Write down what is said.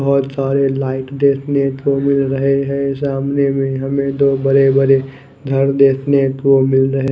बहुतसारे light देखने को मिल रहे है सामने भी हमे दो बड़े बड़े घर देखने को मिल रहे--